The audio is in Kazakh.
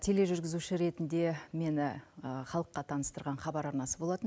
тележүргізуші ретінде мені халыққа таныстырған хабар арнасы болатын